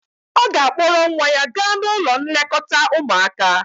ọ ga-akpọrọ nwa ya gaa n'ụlọ nlekọta ụmuaka